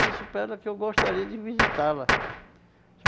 Disse para ela que eu gostaria de visitá-la.